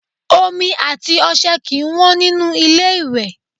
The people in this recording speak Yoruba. Omi àti ọṣẹ kì í wọ́n nínú ilé-ìwẹ̀